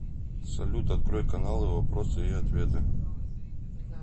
салют открой каналы вопросы и ответы